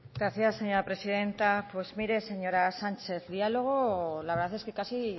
gracias señora presidenta pues mire señora sánchez diálogo la verdad es que casi